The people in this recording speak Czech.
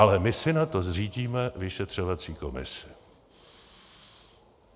Ale my si na to zřídíme vyšetřovací komisi.